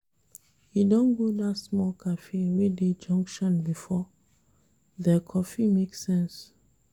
You don go dat small cafe wey dey junction before? Their coffee make sense.